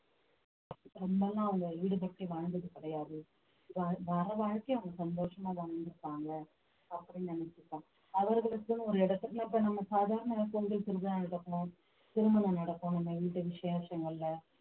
ரொம்பல்லாம் அவங்க ஈடுபட்டு வாழ்ந்தது கிடையாது வ~ வர வாழ்க்கைய அவங்க சந்தோஷமா வாழ்ந்துருப்பாங்க அப்படின்னு நினைச்சிப்பேன் அவர்களுக்குன்னு ஒரு இடத்துக்குள்ள இப்ப நம்ம சாதாரண திருமணம் நடக்கும் நம்ம வீடு விசேஷங்கள்ல